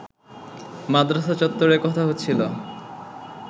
মাদ্রাসা চত্বরে কথা হচ্ছিল